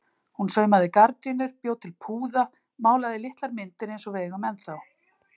Hún saumaði gardínur, bjó til púða, málaði litlar myndir eins og við eigum ennþá.